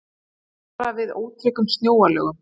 Varað við ótryggum snjóalögum